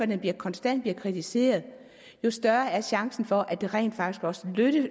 den konstant bliver kritiseret jo større er chancen for at det rent faktisk også